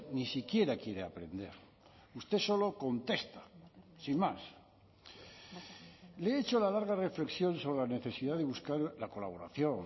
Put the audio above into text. ni siquiera quiere aprender usted solo contesta sin más le he hecho la larga reflexión sobre la necesidad de buscar la colaboración